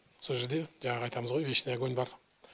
сол жерде жаңағы айтамыз ғой вечный огонь бар